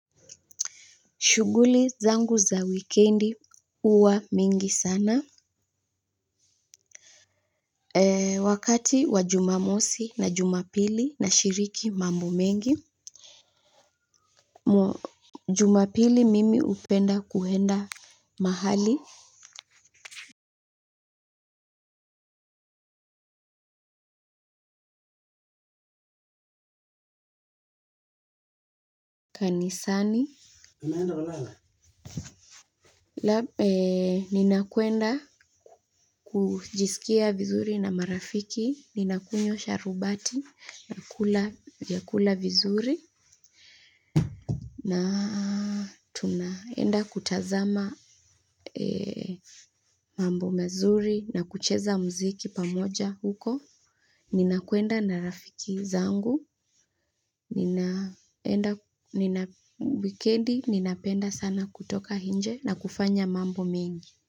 Shughuli zangu za wikendi huwa mingi sana. Wakati wa Jumamosi na Jumapili nashiriki mambo mengi. Jumapili mimi hupenda kuenda mahali kanisani naenda. Ninakwenda kujisikia vizuri na marafiki ninakunywa sharubati nakula vyakula vizuri na tunaenda kutazama mambo mazuri na kucheza muziki pamoja huko. Ninakwenda na rafiki zangu. Wikendi, ninapenda sana kutoka nje na kufanya mambo mengi.